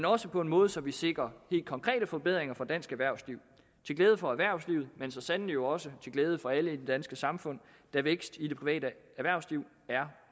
også på en måde så vi sikrer helt konkrete forbedringer for dansk erhvervsliv til glæde for erhvervslivet men så sandelig jo også til glæde for alle i det danske samfund da vækst i det private erhvervsliv er